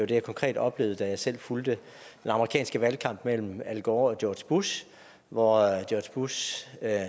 det jeg konkret oplevede da jeg selv fulgte den amerikanske valgkamp mellem al gore og george bush hvor george bush